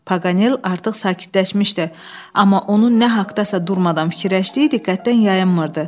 Pagal artıq sakitləşmişdi, amma onun nə haqdasa durmadan fikirləşdiyi diqqətdən yayınmırdı.